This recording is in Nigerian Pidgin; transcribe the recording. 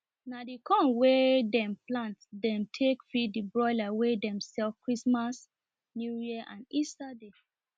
na the corn wen dem plant dem take feed the broiler wen dem sell christmas newyear and easter day